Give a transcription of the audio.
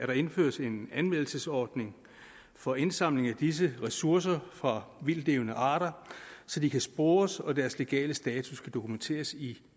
der indføres en anmeldelsesordning for indsamling af disse ressourcer fra vildtlevende arter så de kan spores og deres legale status kan dokumenteres i